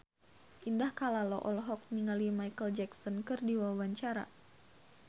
Indah Kalalo olohok ningali Micheal Jackson keur diwawancara